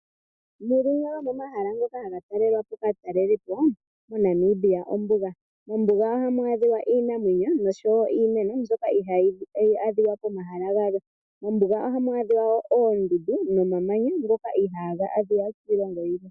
Limwe lyomomahala ngono haga talelwa po kaataleli po moNamibia olyo ombuga. Mombuga ohamu adhika iinamwenyo nosho wo iimeno mbyoka ihaa yi adhika pomahala galwe. Ohamu adhika oondundu nomamanya ngoka ihaa ga adhika kiilongo yilwe.